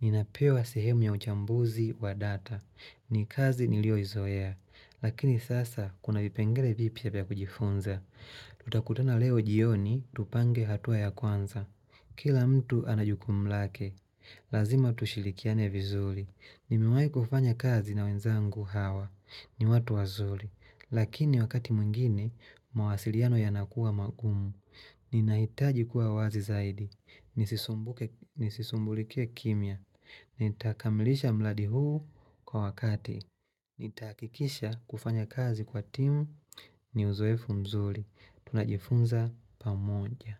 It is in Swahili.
Ninapewa sehemu ya uchambuzi wa data. Ni kazi niliyoizoea. Lakini sasa kuna vipengele vipya vya kujifunza. Tutakutana leo jioni tupange hatua ya kwanza. Kila mtu ana jukumu lake. Lazima tushirikiane vizuri. Nimewahi kufanya kazi na wenzangu hawa. Ni watu wazuri. Lakini wakati mwingine, mawasiliano yanakuwa magumu. Ninahitaji kuwa wazi zaidi. Nisisumbulikie kimya. Nitakamilisha mradi huu kwa wakati. Nitahakikisha kufanya kazi kwa timu ni uzoefu mzuri. Tunajifunza pamoja.